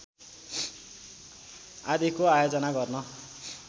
आदिको आयोजन गर्न